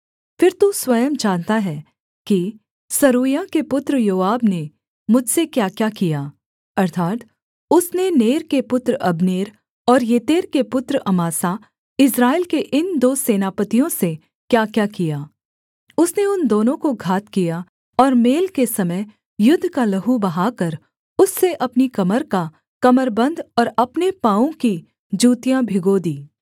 फिर तू स्वयं जानता है कि सरूयाह के पुत्र योआब ने मुझसे क्याक्या किया अर्थात् उसने नेर के पुत्र अब्नेर और येतेर के पुत्र अमासा इस्राएल के इन दो सेनापतियों से क्याक्या किया उसने उन दोनों को घात किया और मेल के समय युद्ध का लहू बहाकर उससे अपनी कमर का कमरबन्द और अपने पाँवों की जूतियाँ भिगो दीं